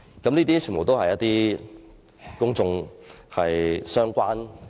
全部都與公眾息息相關。